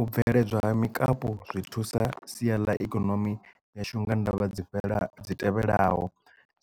U bveledzwa ha mikapu zwi thusa sia ḽa ikonomi yashu unga ndavha dzi fhela dzi tevhelaho